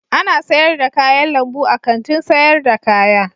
Ana sayar da kayan lambu a Kantin sayar da kaya.